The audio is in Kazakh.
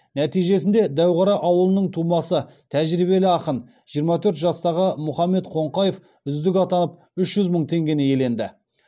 нәтижесінде дәуқара ауылының тумасы тәжірибелі ақын жиырма төрт жастағы мұхаммед қоңқаев үздік атанып үш жүз мың теңгені иеленді